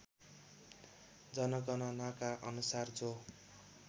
जनगणनाका अनुसार जो